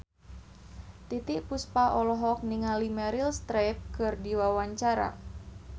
Titiek Puspa olohok ningali Meryl Streep keur diwawancara